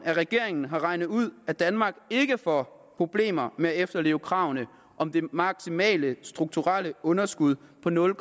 af regeringen har regnet ud at danmark ikke får problemer med at efterleve kravene om det maksimale strukturelle underskud på nul